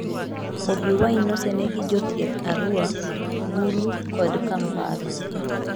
Bobi Wine nosenee gi jothieth Arua, Gulu kod Kampala.